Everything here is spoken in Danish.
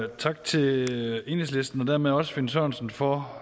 og tak til enhedslisten og dermed også finn sørensen for